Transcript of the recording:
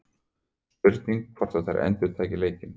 Spurning hvort að þær endurtaki leikinn?